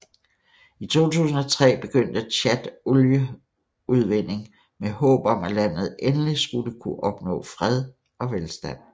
I 2003 begyndte Tchad olieudvinding med håb om at landet endeligt skulle kunne opnå fred og velstand